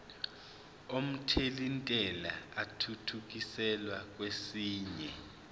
omthelintela athuthukiselwa kwesinye